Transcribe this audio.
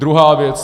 Druhá věc.